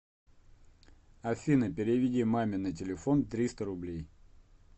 афина переведи маме на телефон триста рублей